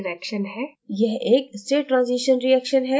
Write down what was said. यह एक state transition reaction है